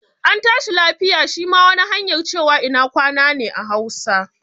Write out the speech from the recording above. An tashi lafiya' shi ma wani hanyar cewa ina kwana ne a hausa